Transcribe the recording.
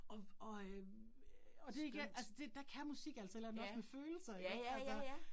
Og og øh og det igen, altså det der kan musik altså et eller andet også med følelser ikke også altså